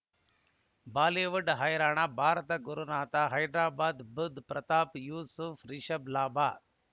Bollywood ಹೈರಾಣ ಭಾರತ ಗುರುನಾಥ ಹೈದರಾಬಾದ್ ಬುಧ್ ಪ್ರತಾಪ್ ಯೂಸುಫ್ ರಿಷಬ್ ಲಾಭ